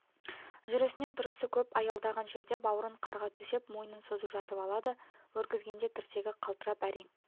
жүрісінен тұрысы көп аялдаған жерде баурын қарға төсеп мойнын созып жатып алады өргізгенде тірсегі қалтырап әрең